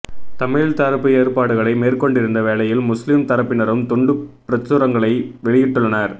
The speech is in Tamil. தமிழர் தரப்பு ஏற்பாடுகளை மேற்கொண்டிருந்த வேளையில் முஸ்லிம் தரப்பினரும் துண்டுப்பிரசுரங்களை வெளியிட்டுள்ளனர்